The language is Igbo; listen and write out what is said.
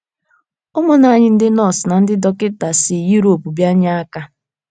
Ụmụnna anyị ndị nọọsụ na ndị dọkịta si Yurop bịa nye aka